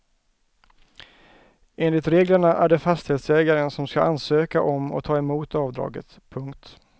Enligt reglerna är det fastighetsägaren som ska ansöka om och ta emot avdraget. punkt